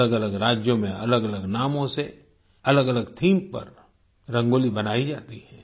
अलगअलग राज्यों में अलगअलग नामों से अलगअलग थीम पर रंगोली बनाई जाती है